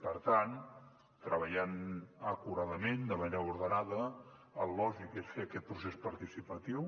per tant treballant acuradament de manera ordenada el lògic és fer aquest procés participatiu